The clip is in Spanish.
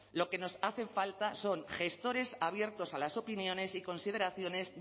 lo que nos hace falta son gestores abiertos a las opiniones y consideraciones